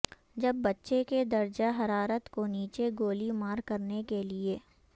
جب بچے کے درجہ حرارت کو نیچے گولی مار کرنے کے لئے